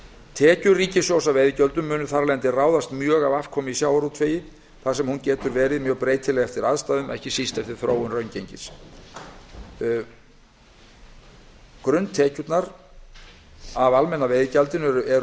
tekjur ríkissjóðs af veiðigjöldum munu þar af leiðandi ráðast mjög af afkomu í sjávarútvegi þar sem hún getur verið mjög breytileg eftir aðstæðum ekki síst eftir þróun raungengis grunntekjurnar af almenna veiðigjaldinu eru